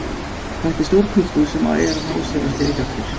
Þetta er stór klúbbur sem er að ná sér á strik aftur.